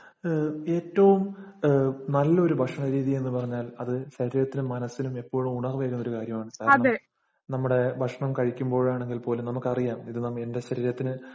ഏറ്റവുംനല്ല ഒരു ഭക്ഷണരീതി എന്ന് പറഞ്ഞാല്‍ അത് ശരീരത്തിനും, മനസിനും ഒരു ഉണര്‍വ് ഏകുന്ന ഒരു കാര്യമാണ്. കാരണം, നമ്മുടെ ഭക്ഷണം കഴിക്കുമ്പോളാണെങ്കിലും നമുക്ക് അറിയാം ഇത് നമ്മ എന്‍റെ ശരീരത്തിന്